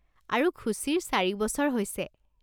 আৰু খুছিৰ চাৰি বছৰ হৈছে।